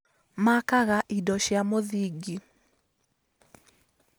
Makaga indo cia mũthingi